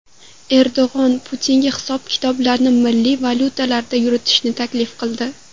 Erdo‘g‘on Putinga hisob-kitoblarni milliy valyutalarda yuritishni taklif qildi.